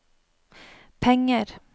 penger